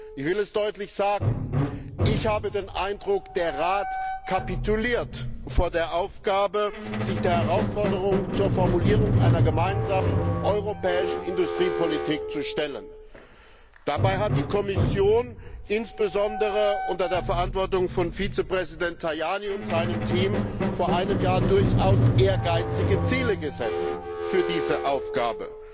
Ich will es deutlich sagen Ich habe den Eindruck, der Rat kapituliert vor der Aufgabe, sich der Herausforderung zur Formulierung einer gemeinsamen europäischen Industriepolitik zu stellen. Dabei hat die Kommission, insbesondere unter der Verantwortung von Vizepräsident Tajani und seinem Team, vor einem Jahr durchaus ehrgeizige Ziele gesetzt für diese Aufgabe.